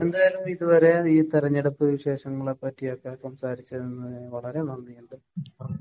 എന്തായാലും ഇതുവരെ ഈ തിരഞ്ഞെടുപ്പ് വിശേഷങ്ങളെ പറ്റിയൊക്കെ സംസാരിച്ചതിന് വളരെ നന്ദിയുണ്ട്.